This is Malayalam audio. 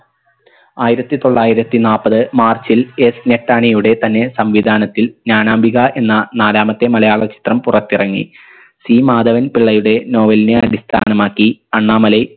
ആയിരത്തിത്തൊള്ളായിരത്തി നാപ്പത് മാർച്ചിൽ S ഞെട്ടാണിയുടെ തന്നെ സംവിധാനത്തിൽ ജ്ഞാനാംബിക എന്ന നാലാമത്തെ മലയാള ചിത്രം പുറത്തിറങ്ങി C മാധവൻ പിള്ളയുടെ novel നെ അടിസ്ഥാനമാക്കി അണ്ണാമലൈ